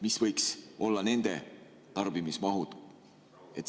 Mis võiks olla nende tarbimismahud?